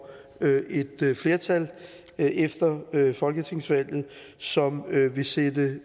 et flertal efter folketingsvalget som vil sætte